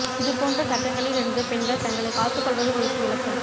இது போன்ற சங்கடங்களில் இருந்து பெண்கள் தங்களைக் காத்துக் கொள்வது குறித்து விளக்கம்